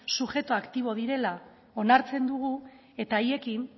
subjektu aktibo direla onartzen dugu eta haiekin